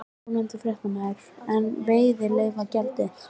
Ónefndur fréttamaður: En veiðileyfagjaldið?